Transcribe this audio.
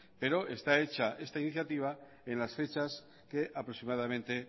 pero está hecha esta iniciativa en las fechas que aproximadamente